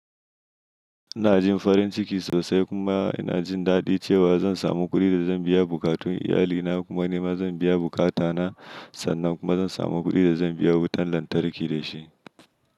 Ina jin farin ciki sosai, kuma ina jin daɗi cewa zan samu kuɗi da zan biya buƙatun iyalina, kuma nima zan biya buƙata na, sannan kuma zan samu kuɗi da zan biya wutan lantarki da shi.